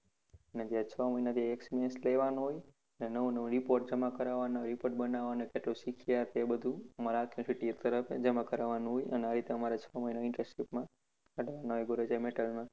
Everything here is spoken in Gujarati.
એમાં છ મહિના થી experience લેવાનો હોય અને નવું નવું report જમા કરાવાનો હોય report બનાવાનો હોય અત્યારે કેટલું શીખીએ બધુ અમારે જમા કરવાનું હોય અને આ રીતે અમારે છ મહિના નું internship માં gorecha metal